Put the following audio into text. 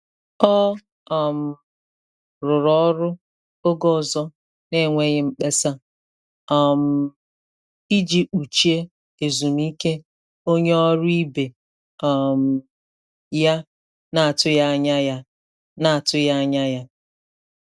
Ọ um rụrụ ọrụ oge ọzọ n'enweghị mkpesa, um iji kpuchie ezumike onye ọrụ ibe um ya na-atụghị anya ya na-atụghị anya ya